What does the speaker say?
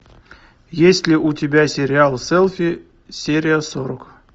есть ли у тебя сериал селфи серия сорок